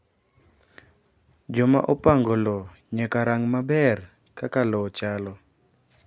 Joma opango lowo nyaka rang’ maber kaka lowo chalo.